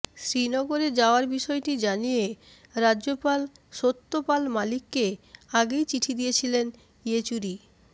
শ্রীনগরে যাওয়ার বিষয়টি জানিয়ে রাজ্যপাল সত্যপাল মালিককে আগেই চিঠি দিয়েছিলেন ইয়েচুরি